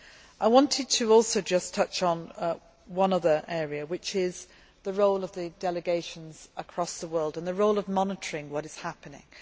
I wanted also to just touch on one other area, and that is the role of the delegations across the world and the role of monitoring what is happening.